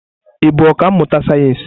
Ị bụ ọkà mmụta sayensị?